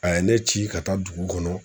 A ye ne ci ka taa dugu kɔnɔ